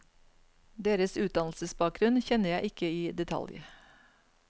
Deres utdannelsesbakgrunn kjenner jeg ikke i detalj.